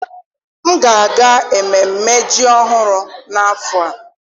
M ga-aga ememme Ji ọhụrụ n'afọ a.